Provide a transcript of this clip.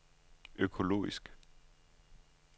økologisk